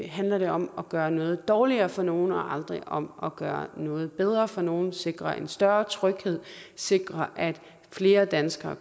handler det om at gøre noget dårligere for nogle og aldrig om at gøre noget bedre for nogle sikre en større tryghed sikre at flere danskere